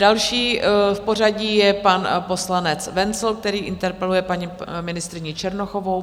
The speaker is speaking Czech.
Další v pořadí je pan poslanec Wenzl, který interpeluje paní ministryni Černochovou.